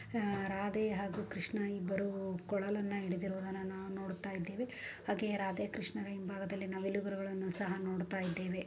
ಹಮ್ ರಾಧೆ ಹಾಗೂ ಕೃಷ್ಣ ಇಬ್ಬರು ಕೊಳಲನ್ನು ಹಿಡಿದಿರೋದನ್ನ ನಾವು ನೋಡ್ತಾ ಇದ್ದೇವೆ ಹಾಗೆ ರಾಧೆ ಕೃಷ್ಣರ ಹಿಂಭಾಗದಲ್ಲಿ ನವಿಲು ಗರಿಗಳನ್ನು ಸಹ ನಾವು ನೋಡ್ತಾಯಿದ್ದೇವೆ